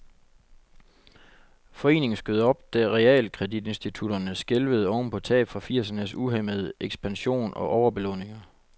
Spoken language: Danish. Foreningen skød op, da realkreditinstitutterne skælvede oven på tab fra firsernes uhæmmede ekspansion og overbelåninger.